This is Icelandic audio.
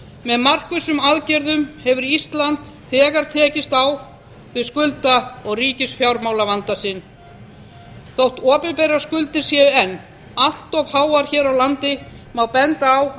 með markvissum aðgerðum hefur ísland þegar tekist á við skulda og ríkisfjármálavanda sinn þótt opinberar skuldir séu enn allt háar hér á landi má benda á